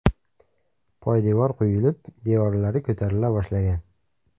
Poydevor quyilib, devorlari ko‘tarila boshlagan.